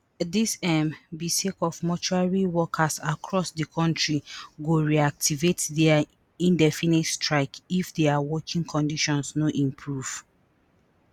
dis um be sake ofmortuary workersacross di kontri go reactivate dia indefinite strike if dia working conditions no improve